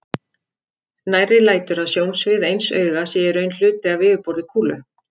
Nærri lætur að sjónsvið eins auga sé í raun hluti af yfirborði kúlu.